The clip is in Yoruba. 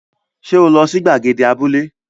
Ṣé o lọ sí gbàgede abúlé?